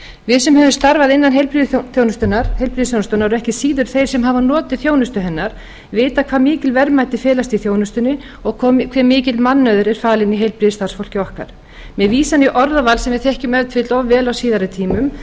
við sem höfum starfað innan heilbrigðisþjónustunnar og ekki síður þeir sem hafa notið þjónustu hennar vita hvað mikil verðmæti felast í þjónustunni og hve mikill mannauður er falinn í heilbrigðisstarfsfólki okkar með vísan í orðaval sem við þekkjum ef til vill of vel á síðari tímum